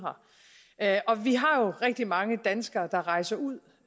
her og vi har jo rigtig mange danskere der rejser ud